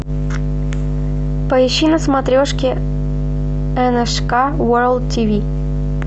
поищи на смотрешке нск ворлд тв